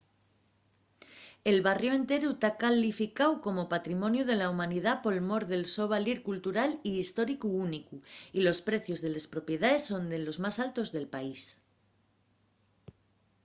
el barriu enteru ta calificáu como patrimoniu de la humanidá por mor del so valir cultural y históricu únicu y los precios de les propiedaes son de los más altos del país